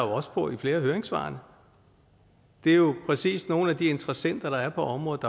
også på i flere af høringssvarene det er jo præcis det nogle af de interessenter der er på området